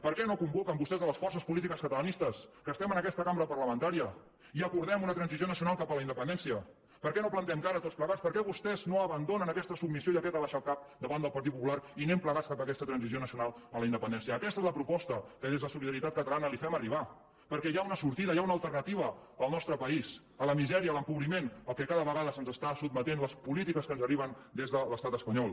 per què no convoquen vostès les forces polítiques catalanistes que estem en aquesta cambra parlamentària i acordem una transició nacional cap a la independència per què no hi plantem cara tots plegats per què vostès no abandonen aquesta submissió i aquesta abaixar el cap davant del partit popular i anem plegats cap a aquesta transició nacional a la independència aquesta és la proposta que des de solidaritat catalana li fem arribar perquè hi ha una sortida hi ha una alternativa al nostre país a la misèria a l’empobriment al qual cada vegada se’ns està sotmetent a les polítiques que ens arriben des de l’estat espanyol